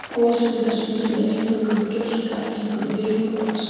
Í gosum þessum kemur eingöngu upp gjóska, einkum vikur og aska.